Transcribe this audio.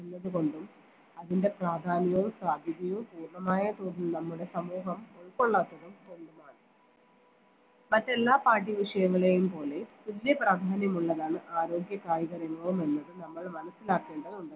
ഉള്ളതുകൊണ്ടും അതിൻറെ പ്രാധാന്യവും സാധ്യതയും പൂർണമായ തോതിൽ നമ്മുടെ സമൂഹം ഉൾക്കൊള്ളാത്തതും കൊണ്ടുമാണ് മറ്റെല്ലാ പാഠ്യ വിഷയങ്ങളേയും പോലെ തുല്യ പ്രാധാന്യമുള്ളതാണ് ആരോഗ്യ കായിക വിനോദമെന്നത് നമ്മൾ മനസ്സിലാക്കേണ്ടതുണ്ട്